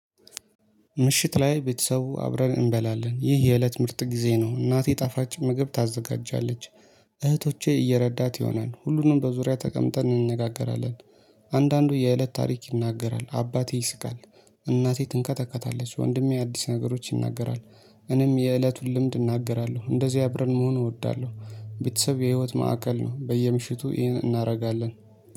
ምሽት ላይ ቤተሰቡ አብረን እንበላለን ይህ የእለት ምርጥ ጊዜ ነው እናቴ ጣፋጭ ምግብ ታዘጋጃለች። እህቶቼ እየረዳት ይሆናል ሁሉንም በዙሪያ ተቀምጠን እንነጋገራለን። አንዳንዱ የእለት ታሪክ ይናገራል አባቴ ይስቃል። እናቴ ትንከተከታለች ወንድሜ አዲስ ነገሮች ይናገራል። እኔም የእለቱን ልምድ እናገራለሁ እንደዚህ አብረን መሆን እወዳለሁ። ቤተሰብ የህይወት ማዕከል ነው። በየምሽቱ ይሄን እናደርጋለን